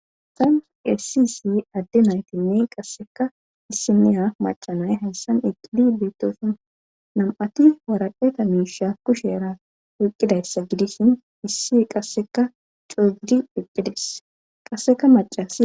hayssan essi issi adde naytinne qassika issiniya macanay hayssan eqqidi beetosona nam7ati waraqeta miisha kushera oyqqidayssa gidishin issi qassika coo gidi eqqi des qasseka macasiya.